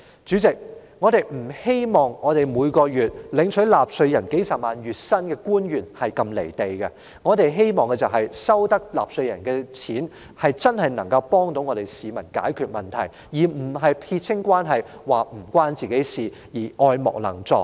主席，官員每月領取由納稅人支付的數十萬元月薪，我們不願他們如此"離地"，他們既然領取納稅人的金錢，我們就希望他們真正能夠幫助市民解決問題，而不是撇清關係，表明與自己無關，愛莫能助。